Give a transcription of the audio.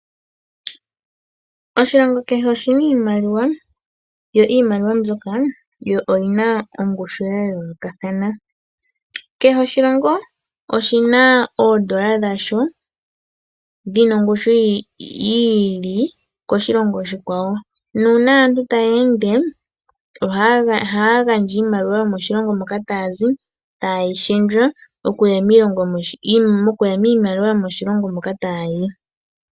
Oshilongo kehe oshina iimaliwa, yo iimaliwa mbyoka yo oyina ongushu ya yoolokathana. Kehe oshilongo, oshina oondola dhasho, dhina ongushu yi ili, koshilongo oshikwawo, nuuna aantu ta ya ende, oha ya gandja iimaliwa yo shilongo moka ta ya zi, ta ye yi shendjwa, niimaliwa mbyoka yoshilongo moka ta ya yi.